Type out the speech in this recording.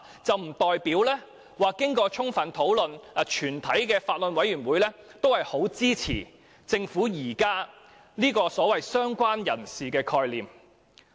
這並不代表此建議已經充分討論，以及法案委員會全體委員均支持政府現時這個"相關人士"的概念。